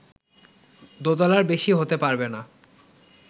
দোতলার বেশি হতে পারবে না